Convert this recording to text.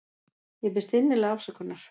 Ég biðst innilega afsökunar.